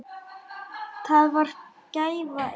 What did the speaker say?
Það var gæfa ykkar beggja.